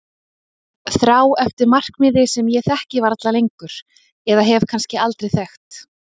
Þrá eftir markmiði sem ég þekki varla lengur eða hef kannski aldrei þekkt.